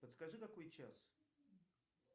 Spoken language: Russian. подскажи какой час